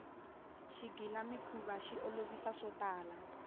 xigila mikhuva xi olovisa swotala